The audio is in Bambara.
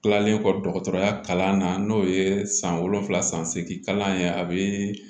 Tilalen kɔ dɔgɔtɔrɔya kalan na n'o ye san wolonwula san seegin kalan ye a bɛ